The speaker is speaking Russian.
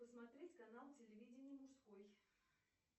посмотреть канал телевидения мужской